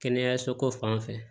Kɛnɛyaso ko fanfɛ